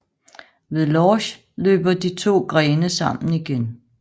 Ved Lorsch løber de to grene sammen igen